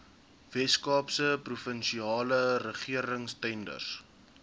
weskaapse provinsiale regeringstenders